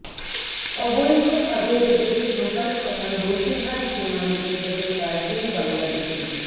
অবৈধ ভাবে এদেশে ঢোকার সময় বসিরহাট সীমান্তে গ্রেফতার দুই বাংলাদেশি